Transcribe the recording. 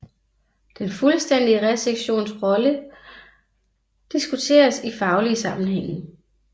Den fuldstændige resektions rolle diskuteres i faglige sammenhænge